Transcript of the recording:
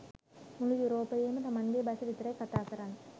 මුළු යුරෝපයේම තමන්ගෙ බස විතරයි කතා කරන්නෙ